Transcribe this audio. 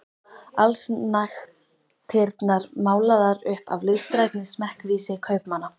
Allsnægtirnar málaðar upp af listrænni smekkvísi kaupmanna.